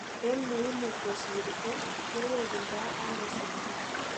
En muimu kosir ko, kewukundai ano siset ?